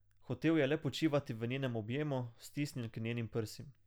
Hotel je le počivati v njenem objemu, stisnjen k njenim prsim.